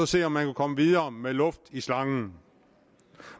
se om man kunne komme videre med luft i slangen